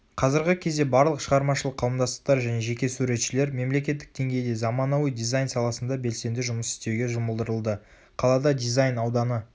қазіргі кездебарлық шығармашылық қауымдастықтар және жеке суретшілер мемлекеттік деңгейде заманауи дизайн саласында белсенді жұмыс істеуге жұмылдырылды.қалада дизайн ауданы